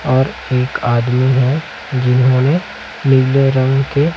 और एक आदमी हैं जिन्होंने नीले रंग के--